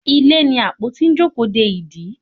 Ilé ní apotí n jókòó dẹ ìdí